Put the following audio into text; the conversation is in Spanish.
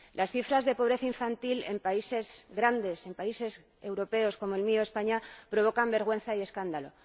Las cifras de pobreza infantil en países grandes, en países europeos como el mío, España, provocan vergüenza y escándalo.